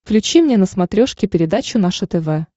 включи мне на смотрешке передачу наше тв